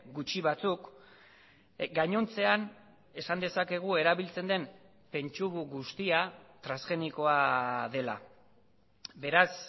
gutxi batzuk gainontzean esan dezakegu erabiltzen den pentsu guztia transgenikoa dela beraz